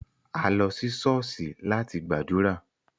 A lo si ṣọ̀ọ́sì lati gbadura.